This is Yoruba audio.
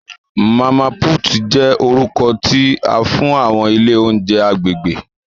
Mama Puutu jẹ orukọ ti a fun awọn ile ounjẹ agbegbe.